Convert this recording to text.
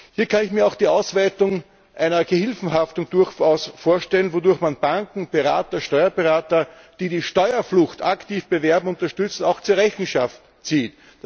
Hier kann ich mir auch die Ausweitung einer Gehilfenhaftung durchaus vorstellen, wodurch man Banken, Berater, Steuerberater, die die Steuerflucht aktiv bewerben und unterstützen, auch zur Rechenschaft zieht.